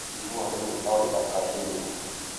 Ĩhũa rĩmwe no rĩthakarĩe nyũba